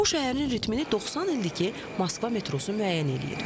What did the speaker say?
Bu şəhərin ritmini 90 ildir ki, Moskva metrosu müəyyən edir.